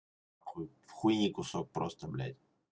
хуй в хуйни кусок просто блядь